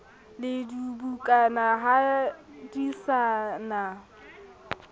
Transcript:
le dibukana ha di na